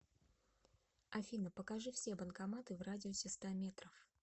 афина покажи все банкоматы в радиусе ста метров